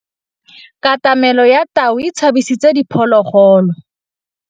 Katamêlô ya tau e tshabisitse diphôlôgôlô.